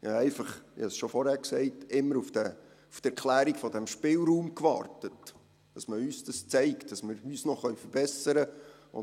Ich habe einfach – ich habe es schon vorhin gesagt – immer auf die Erklärung von diesem Spielraum gewartet, dass man uns zeigt, dass wir uns noch verbessern können.